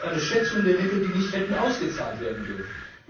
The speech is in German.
Sie ist eine Schätzung der Mittel, die nicht hätten ausgezahlt werden dürfen.